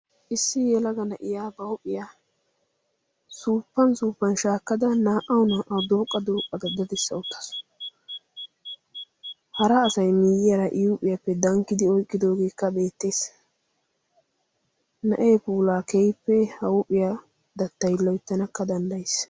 issi yelaga na7iya ba huuphiyaa suuppan suuppan shaakkada naa77au naa77au dooqqa dooqqada dadssa uttasu hara asai miiyiyaara iyuuphiyaappe dankkidi oiqqidoogeekka beettees na7ee pulaa keippe ha huuphiyaa dattai loittanakka danddayiis